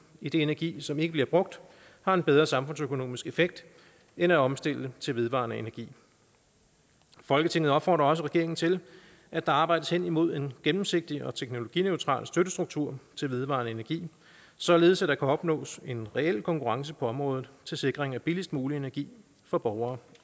idet energi som ikke bliver brugt har en bedre samfundsøkonomisk effekt end at omstille til vedvarende energi folketinget opfordrer også regeringen til at der arbejdes henimod en gennemsigtig og teknologineutral støttestruktur til vedvarende energi således at der kan opnås en reel konkurrence på området til sikring af billigst mulig energi for borgere